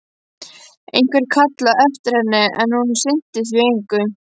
Einhver kallaði á eftir henni, en hún sinnti því engu.